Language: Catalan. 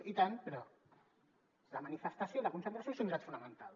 i tant però la manifestació i la concentració són drets fonamentals